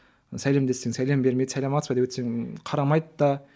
сәлемдессең сәлем бермейді сәлеметсіз бе деп өтсең қарамайды да